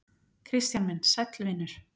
Kristján minn, sæll vinur.